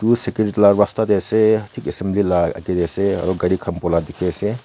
esruki laga rasta teh ase thik assambly laga ate ase aru gari khanbo le ase.